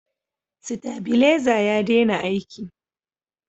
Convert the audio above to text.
stabileza ya dena aiki